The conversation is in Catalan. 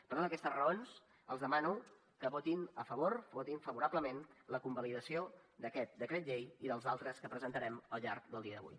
per totes aquestes raons els demano que votin a favor o votin favorablement la convalidació d’aquest decret llei i dels altres que presentarem al llarg del dia d’avui